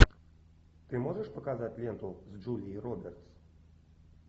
ты можешь показать ленту с джулией робертс